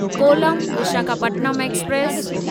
कोलम Visakhapatnam express